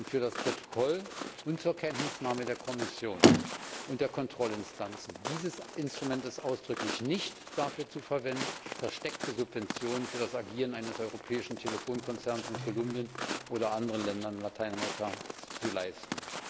Für das Protokoll und zur Kenntnisnahme der Kommission und der Kontrollinstanzen Dieses Instrument ist ausdrücklich nicht dafür zu verwenden, versteckte Subventionen für das Agieren eines europäischen Telefonkonzerns in Kolumbien oder anderen Ländern Lateinamerikas zu leisten!